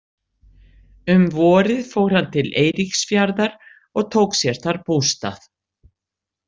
Um vorið fór hann til Eiríksfjarðar og tók sér þar bústað.